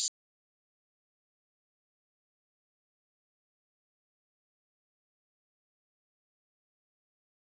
Gunnar Atli: Hefur staðan hjá ykkur einhvern tímann verið svona slæm?